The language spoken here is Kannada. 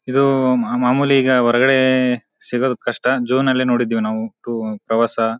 ಇದು ಮಾಮೂಲಿ ಈಗ ಹೊರಗಡೆ ಸಿಗೋದು ಕಷ್ಟ ಜೂನ್ ಲ್ಲಿ ನೋಡಿದ್ದೀವಿ ನಾವು ಟು ಪ್ರವಾಸ.